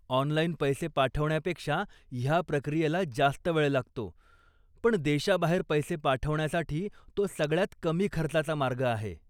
Online पैसे पाठवण्यापेक्षा ह्या प्रक्रियेला जास्त वेळ लागतो पण देशाबाहेर पैसे पाठवण्यासाठी तो सगळ्यात कमी खर्चाचा मार्ग आहे.